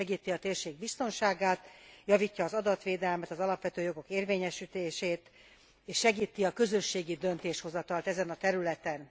Segíti a térség biztonságát, javítja az adatvédelmet, az alapvető jogok érvényesítését, és segíti a közösségi döntéshozatalt ezen a területen.